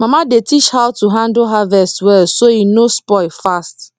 mama dey teach how to handle harvest well so e no spoil fast